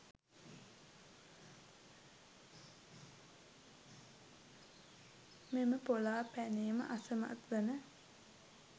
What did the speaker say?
මෙම පොලාපැනීම අසමත් වන